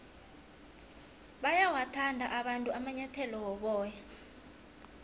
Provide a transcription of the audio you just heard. bayawathanda abantu amanyathele woboya